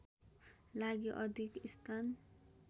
लागि अधिक स्थान